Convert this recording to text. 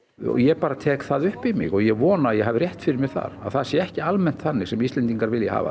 ég bara tek það upp í mig og ég vona að ég hafi rétt fyrir mér þar að það sé ekki almennt þannig sem Íslendingar vilji hafa